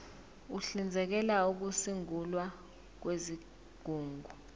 uhlinzekela ukusungulwa kwezigungu